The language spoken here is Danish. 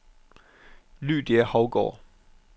Lydia Hougaard